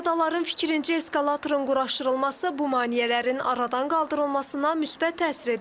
Piyadaların fikrincə eskalatorun quraşdırılması bu maneələrin aradan qaldırılmasına müsbət təsir edə bilər.